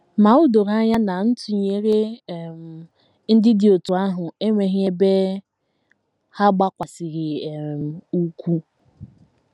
Ma o doro anya na ntụnyere um ndị dị otú ahụ enweghị ebe ha gbakwasịrị um ụkwụ.